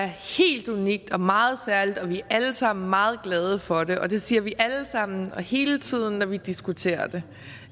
er helt unikt og meget særligt og vi alle sammen meget glade for det og det siger vi alle sammen og hele tiden når vi diskuterer det